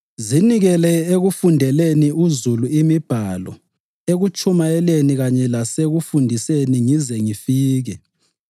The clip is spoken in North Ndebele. Zinikele ekufundeleni uzulu imibhalo, ekutshumayeleni kanye lasekufundiseni ngize ngifike.